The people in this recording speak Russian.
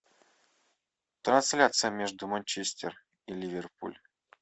трансляция между манчестер и ливерпуль